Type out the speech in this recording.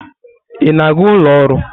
Ị na-aga ụlọ ọrụ?